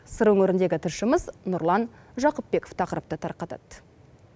сыр өңірдегі тілшіміз нұрлан жақыпбеков тақырыпты тарқытады